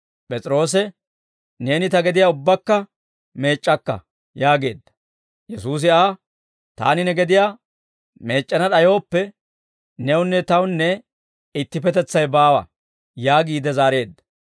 P'es'iroose, «Neeni ta gediyaa ubbakka meec'c'akka!» yaageedda. Yesuusi Aa, «Taani ne gediyaa meec'c'ana d'ayooppe, newunne Tawunne ittipetetsay baawa» yaagiide zaareedda.